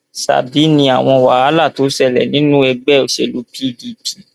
ṣábì ni àwọn wàhálà tó ṣẹlẹ nínú ẹgbẹ òṣèlú pdp